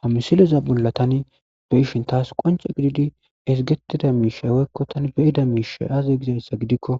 Ha misileza bolla tani be ishin taas qonce gididi ezgetida miishay weykko tani beyida miisha aaze gizayssa gidikko